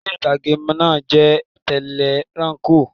Eré ìtàgé náà jẹ́ tẹlẹ́ranko